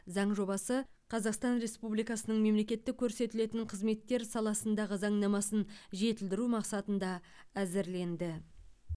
заң жобасы қазақстан республикасының мемлекеттік көрсетілетін қызметтер саласындағы заңнамасын жетілдіру мақсатында әзірленді